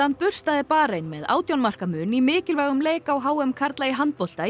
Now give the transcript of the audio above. burstaði Barein með átján marka mun í mikilvægum leik á h m karla í handbolta í